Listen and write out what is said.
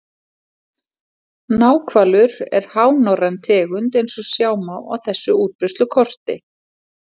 Náhvalur er hánorræn tegund eins og sjá má á þessu útbreiðslukorti.